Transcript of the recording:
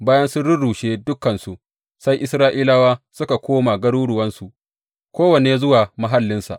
Bayan sun rurrushe dukansu, sai Isra’ilawa suka koma garuruwansu, kowanne zuwa mahallinsa.